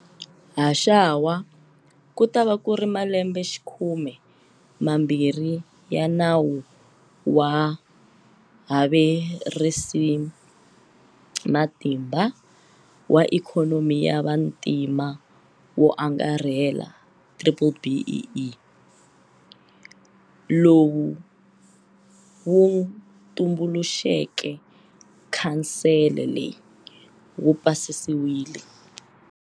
Haxawa, ku ta va ku ri ma lembexikhume mambirhi ya Nawu wa Havexerisamatimba wa Ikhonomi ya Vantima wo Angarhela, BBBEE, lowu wu tumbuluxeke khansele leyi wu pasisiwile.